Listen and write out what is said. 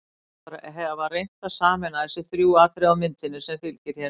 Þeir hafa reynt að sameina þessi þrjú atriði á myndinni, sem fylgir hér með.